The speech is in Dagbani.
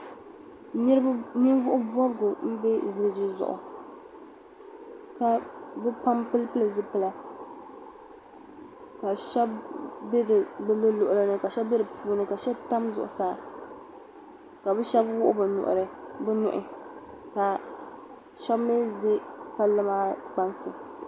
Ninvuɣ' bɔbigu m-be ziliji zuɣu ka bɛ pam pilipili zipila ka shɛba be bɛ mi luɣili ni ka be di puuni ka shɛba tami zuɣusaa ka bɛ shɛba wuɣi bɛ nuhi ka shɛba mi za palli maa kpansi.